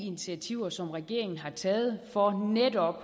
initiativer som regeringen har taget for netop